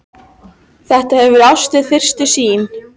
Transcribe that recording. Þetta hefur verið ást við fyrstu sýn.